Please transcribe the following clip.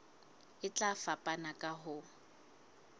e tla fapana ka ho